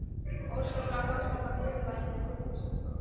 Óskaplega fannst mér það niðurlægjandi tilhugsun.